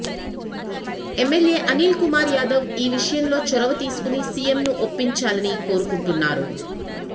MLA Anil Kumar Yadav ఈ విషయంలో చొరవ తీసుకుని సీఎంను ఒప్పించాలని కోరుకుంటున్నారు